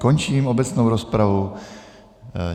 Končím obecnou rozpravu.